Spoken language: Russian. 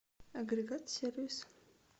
агрегат сервис